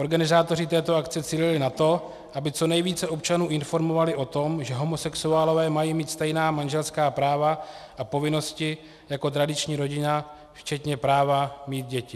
Organizátoři této akce cílili na to, aby co nejvíce občanů informovali o tom, že homosexuálové mají mít stejná manželská práva a povinnosti jako tradiční rodina včetně práva mít děti.